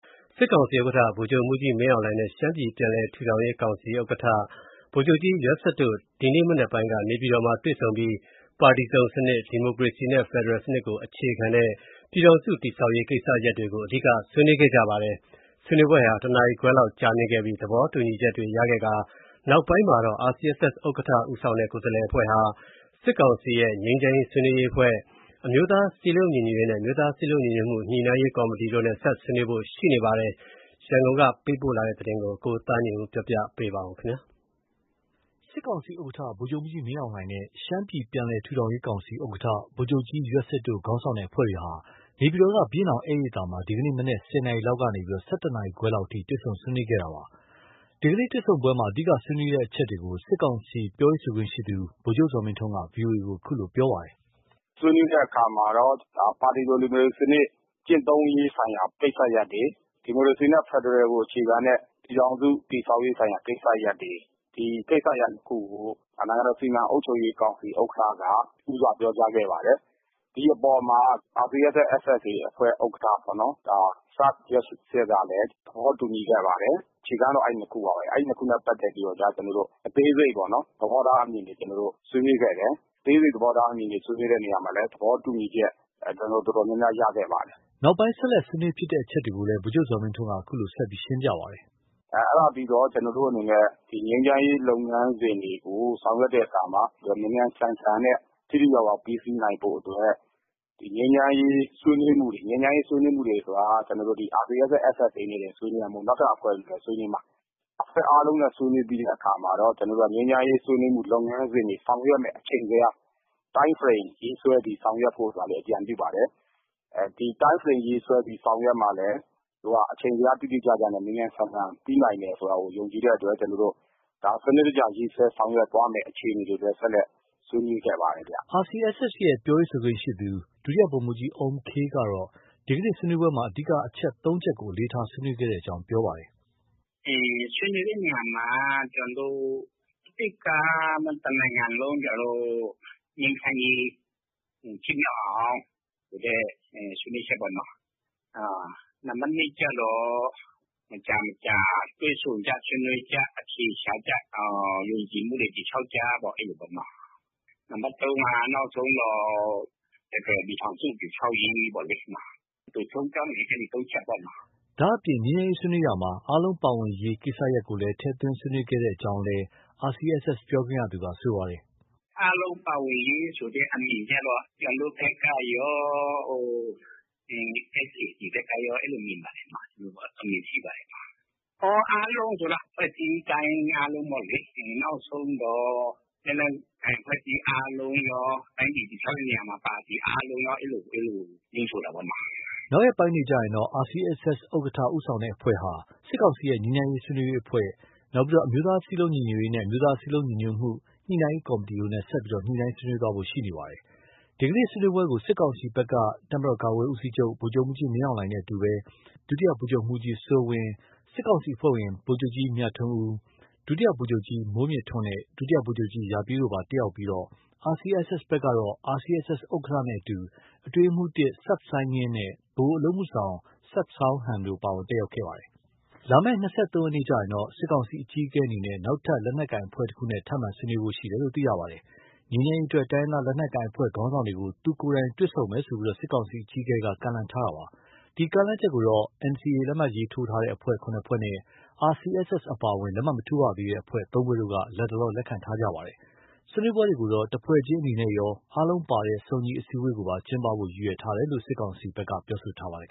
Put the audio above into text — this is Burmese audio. စစ်ကောင်စီဥက္ကဋ္ဌ ဗိုလ်ချုပ်မှူးကြီးမင်းအောင်လှိုင်နဲ့ ရှမ်းပြည်ပြန်လည်ထူထောင်ရေးကောင်စီဥက္ကဋ္ဌ ဗိုလ်ချုပ်ကြီး ယွက်စစ်တို့ ဒီကနေ့ မနက်ပိုင်းက နေပြည်တော်မှာ တွေ့ဆုံပြီး ပါတီစုံစနစ်၊ ဒီမိုကရေစီနဲ့ ဖက်ဒရယ်စနစ်ကို အခြေခံတဲ့ ပြည်ထောင်စုတည်ဆောက်ရေးကိစ္စရပ်တွေကို အဓိက ဆွေးနွေးခဲ့ကြပါတယ်။ ဆွေးနွေးပွဲဟာ တစ်နာရီခွဲလောက်ကြာမြင့်ခဲ့ပြီး နောက်ပိုင်းမှာတော့ RCSS ဥက္ကဋ္ဌ ဦးဆောင်တဲ့ ကိုယ်စားလှယ်အဖွဲ့ဟာ စစ်ကောင်စီရဲ့ ငြိမ်းချမ်းရေးဆွေးနွေးရေးအဖွဲ့၊ အမျိုးသားစည်းလုံးညီညွတ်ရေးနဲ့ အမျိုးသားစည်းလုံးညီညွတ်မှု ညှိနှိုင်းရေးကော်မတီတို့နဲ့ ဆက်လက် ဆွေးနွေးသွားဖို့ ရှိနေပါတယ်။ ရန်ကုန်ကပေးပို့တဲ့သတင်းကိုသားညွန့်ဦးက တင်ပြပေးထားပါတယ်။ စစ်ကောင်စီဥက္ကဋ္ဌ ဗိုလ်ချုပ်မှူးကြီးမင်းအောင်လှိုင်နဲ့ ရှမ်းပြည်ပြန်လည်ထူထောင်ရေးကောင်စီဥက္ကဋ္ဌ ဗိုလ်ချုပ်ကြီး ယွက်စစ်တို့ူ ခေါင်းဆောင်တဲ့အဖွဲ့တွေဟာ နေပြည်တော်က ဘုရင်နောင် ဧည့်ရိပ်သာမှာ ဒီကနေ့ မနက် ၁၀ နာရီလောက်ကနေ ၁၁ နာရီခွဲလောက်အထိ တွေ့ဆုံဆွေးနွေးခဲ့တာပါ။ ဒီတွေ့ဆုံပွဲမှာ အဓိက ဆွေးနွေးတဲ့အချက်တွေကို စစ်ကောင်စီရဲ့ ပြောရေးဆိုခွင့်ရှိသူ ဗိုလ်ချုပ် ဇော်မင်းထွန်းက VOA ကို အခုလို ပြောပါတယ်။ “ဆွေးနွေးတဲ့အခါမှာတော့ ပါတီစုံဒီမိုကရေစီစနစ် ကျင့်သုံးရေးဆိုင်ရာ ကိစ္စရပ်တွေ၊ ဒီမိုကရေစီနဲ့ ဖက်ဒရယ်ကို အခြေခံတဲ့ ပြည်ထောင်စုတည်ဆောက်ရေးဆိုင်ရာ ကိစ္စရပ်တွေ၊ ဒီကိစ္စရပ်နှစ်ခုကို နိုင်ငံတော်စီမံအုပ်ချုပ်ရေးကောင်စီဥက္ကဋ္ဌက ဦးစွာပြောကြားခဲ့ပါတယ်။ ဒီအပေါ်မှာ RCSS/SSA ဥက္ကဋ္ဌပေါ့နော်။ စဝ်ယွက်စစ်ကလည်း သဘောတူညီခဲ့ပါတယ်။ အခြေခံကတော့အဲဒီနှစ်ခုပါပဲ။ အဲဒီနှစ်ခုနဲ့ပတ်သက်ပြီးကျ ကျနော်တို့ အသေးစိတ်သဘောထားအမြင်တွေ ဆွေးနွေးခဲ့တယ်။ အသေးစိတ်သဘောထားအမြင်တွေ ဆွေးနွေးတဲ့နေရာမှာလည်း သဘောတူညီချက် တော်တော်များများ ရခဲ့ပါတယ်။” နောက်ပိုင်းဆက်လက်ဆွေးနွေးဖြစ်တဲ့အချက်တွေကိုလည်း ဗိုလ်ချုပ်ဇော်မင်းထွန်းက အခုလို ဆက်ပြောပါတယ်။ “အဲဒါပြီးတော့ ငြိမ်းချမ်းရေးလုပ်ငန်းစဉ်တွေကို ဆောင်ရွက်တဲ့အခါမှာ မြန်မြန်ဆန်ဆန်နဲ့ ထိထိရောက်ရောက် ပြီးစီးနိုင်ဖို့ ငြိမ်းချမ်းရေးဆွေးနွေးမှုတွေ၊ ဒီငြိမ်းချမ်းရေးဆွေးနွေးမှုတွေက RCSS/SSA နဲ့တင်မဟုတ်ဘူး နောက်ထပ် အဖွဲ့တွေနဲ့လည်း ဆွေးနွေးမှာ။ အဖွဲ့အားလုံးနဲ့ ဆွေးနွေးပြီးတဲ့အခါမှာတော့ ငြိမ်းချမ်းရေးဆွေးနွေးမှု လုပ်ငန်းစဉ်တွေ ဆောင်ရွက်ရမယ့် အချိန်ဇယား Time Frame ရေးဆွဲပြီးဆောင်ရွက်ဖု့ိလည်း အကြံပြုပါတယ်။ ဒီ Time Frame ရေးဆွဲပြီးဆောင်ရွက်မှလည်း အချိန်ဇယား တိတိကျကျနဲ့ မြန်မြန်ဆန်ဆန် ပြီးနိုင်မယ် ဆိုတာကို ယုံကြည်တဲ့အတွက် ဒါကို စနစ်တကျ ရေးဆွဲဆောင်ရွက်သွားမယ့်အခြေအနေတွေလည်း ဆက်လက် ဆွေးနွေးခဲ့ပါတယ်။” RCSS ရဲ့ ပြောရေးဆိုခွင့်ရှိသူ ဒု ဗိုလ်မှူးကြီးအုမ်ခေးကတော့ ဒီနေ့ ဆွေးနွေးပွဲမှာ အဓိက အချက် ၃ ချက်ကို အလေးထား ဆွေးနွေးခဲ့ကြောင်း ပြောပါတယ်။ “ ဆွေးနွေးတဲ့နေရာမှာ တစ်က တနိုင်ငံလုံး ငြိမ်းချမ်းရေးဖြစ်မြောက်အောင်ဆိုတဲ့ ဆွေးနွေးချက်ပေါ့နော။ နံပါတ် နှစ်ကျတော့ မကြာမကြာ တွေ့ဆုံကြ၊ ဆွေးနွေးကြ၊ အဖြေရှာကြ၊ ယုံကြည်မှုတွေ တည်ဆောက်ကြ အဲလိုပေါ့နော။ နံပါတ် သုံးက နောက်ဆုံးတော့ ဖက်ဒရယ်ပြည်ထောင်စု တည်ဆောက်ရေးပေါ့လေ။ အတိုချုံးပြောရင် အဲဒီ ၃ ချက်ပေ့ါနော။” ဒါအပြင် ငြိမ်းချမ်းရေးဆွေးနွေးရာမှာ အားလုံးပါဝင်ရေး ကိစ္စရပ်ကိုလည်း ထည့်သွင်းဆွေးနွေးခဲ့ကြောင်းလည်း ဒု ဗိုလ်မှုးကြီးအုမ်ခေး က ပြောပါတယ်။ “အားလုံးပါဝင်ရေးဆိုတဲ့အမြင်ကျတော့ ကျနော်တို့ဘက်ကရော ဒီ SAC ဘက်ကရော အဲလိုမြင်ပါတယ်နော။ အမြင်ရှိပါတယ်နော။ အားလုံးဆိုတာ အဖွဲ့အစည်းတိုင်း အားလုံးပေါ့လေ။ နောက်ဆုံးတော့ လက်နက်ကိုင်အဖွဲ့တိုင်းအားလုံးရော၊ တိုင်းပြည်တည်ဆောက်တဲ့နေရာမှာ ပါတီအားလုံးရော အဲလို အဲလို ညွှန်းဆိုတာပေါ့နော။” နောက်ရက်ပိုင်းတွေမှာတော့ RCSS ဥက္ကဋ္ဌ ဦးဆောင်တဲ့အဖွဲ့ဟာ စစ်ကောင်စီရဲ့ ငြိမ်းချမ်းရေးဆွေးနွေးရေးအဖွဲ့၊ နောက် အမျိုးသားစည်းလုံးညီညွတ်ရေးနဲ့ အမျိုးသားစည်းလုံးညီညွတ်မှု ညှိနှိုင်းရေးကော်မတီတို့နဲ့ ဆက်လက် ဆွေးနွေးသွားဖို့ ရှိနေပါတယ်။ ဒီနေ့ ဆွေးနွေးပွဲကို စစ်ကောင်စီဘက်က တပ်မတော်ကာကွယ်ရေးဦးစီးချုပ် ဗိုလ်ချုပ်မှူးကြီး မင်းအောင်လှိုင်နဲ့ အတူ တပ်မတော်ကာကွယ်ရေးဦးစီးချုပ် ဒုတိယဗိုလ်ချုပ်မှုးကြီး စိုးဝင်း၊ စစ်ကောင်စီအဖွဲ့ဝင် ဗိုလ်ချုပ်ကြီးမြထွန်းဦး၊ ဒုတိယဗိုလ်ချုပ်ကြီး မိုးမြင့်ထွန်းနဲ့ ဒုတိယဗိုလ်ချုပ်ကြီး ရာပြည့်တို့ ပါဝင်တက်ရောက်ပြီး RCSS ဘက်ကတော့ RCSS ဥက္ကဋ္ဌနဲ့အတူ အတွင်းရေးမှုး ၁ စဝ်စိုင်းငင်းနဲ့ ဗဟိုအလုပ်အမှုဆောင် စဝ်ဆောင်းဟန် တို့ ပါဝင်တက်ရောက်ခဲ့ပါတယ်။ လာမယ့် ၂၃ရက်နေ့မှာတော့ စစ်ကောင်စီအကြီးအကဲအနေနဲ့ နောက်ထပ် လက်နက်ကိုင်အဖွဲ့တခုနဲ့ ထပ်မံ ဆွေးနွေးဖို့ ရှိနေပါတယ်။ ငြိမ်းချမ်းရေးအတွက် တိုင်းရင်းသားလက်နက်ကိုင်အဖွဲ့ခေါင်းဆောင်တွေကို သူ့ကိုယ်တိုင်တွေ့ဆုံမယ်လို့ စစ်ကောင်စီအကြီးအကဲက ကမ်းလှမ်းထားပါတယ်။ ဒီကမ်းလှမ်းချက်ကိုတော့ NCA လက်မှတ်ထိုးအဖွဲ့ ၇ ဖွဲ့နဲ့၊ RCSS အပါအဝင် လက်မှတ်မထိုးရသေးတဲ့အဖွဲ့ ၃ ဖွဲ့တို့က လတ်တလော လက်ခံထားကြပါတယ်။ ဆွေးနွေးပွဲတွေကို တဖွဲ့ချင်းအနေနဲ့ရော ၊ အားလုံးပါဝင်တဲ့ စုံညီအစည်းအဝေးကိုပါ ကျင်းပဖို့ ရည်ရွယ်ထားတယ်လို့ စစ်ကောင်စီက ပြောထားပါတယ်